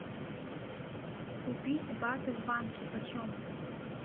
купить баты в банке почем